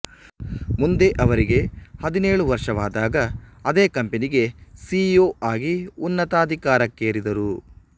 ಮುಂದೆ ಅವರಿಗೆ ಹದಿನೇಳು ವರ್ಷವಾದಾಗ ಅದೇ ಕಂಪನಿ ಗೆ ಸಿ ಇ ಓ ಆಗಿ ಉನ್ನತಾಧಿಕಾರಕ್ಕೇರಿದರು